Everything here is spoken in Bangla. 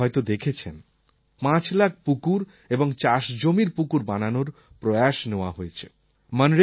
এবার আপনারা হয়তো দেখেছেন ৫ লাখ পুকুর এবং চাষ জমির পুকুর বানানোর প্রয়াস নেওয়া হয়েছে